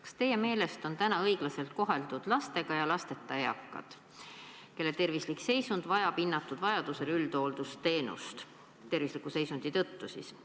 Kas teie meelest on õiglaselt koheldud lastega ja lasteta eakaid, kelle tervislik seisund vajab hinnatud vajadusel üldhooldusteenust tervisliku seisundi tõttu?